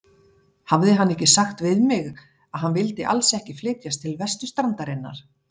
Hafði hann ekki sagt við mig, að hann vildi alls ekki flytjast til vesturstrandarinnar?